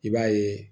I b'a ye